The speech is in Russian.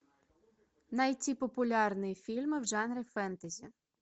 найти популярные фильмы в жанре фэнтези